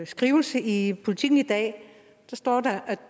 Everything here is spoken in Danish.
skrivelse i politiken i dag står